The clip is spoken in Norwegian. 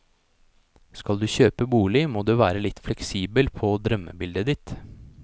Skal du kjøpe bolig, må du være litt fleksibel på drømmebildet ditt.